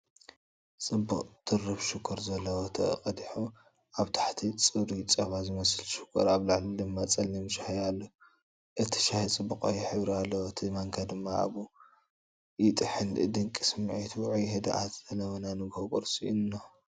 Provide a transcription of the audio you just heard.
ጽቡቕ ድርብ ሽኮር ዘለዎ ተቐዲሑ፣ ኣብ ታሕቲ ጽሩይ ጸባ ዝመስል ሽኮር፡ ኣብ ላዕሊ ድማ ጸሊም ሻሂ ኣሎ። እቲ ሻሂ ጽቡቕ ቀይሕ ሕብሪ ኣለዎ፣ እቲ ማንካ ድማ ኣብኡ ይጥሕል። ድንቂ ስምዒት ውዑይን ህድኣትን ዘለዎ ናይ ንጎሆ ቁርሲ እንሆ፡፡